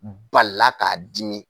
Balila k'a dimi.